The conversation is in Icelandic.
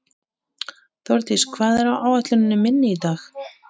Þórdís, hvað er á áætluninni minni í dag?